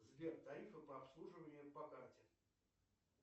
сбер тарифы по обслуживанию по карте